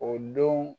O don